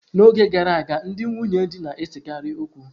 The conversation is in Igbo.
N'oge gara aga, ndị nwunye di na-esekarị okwu.